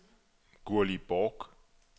Gurli Bork